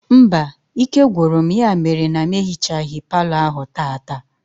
Mba, ike gwụrụ m ya mere na m ehichaghi palọ ahụ taata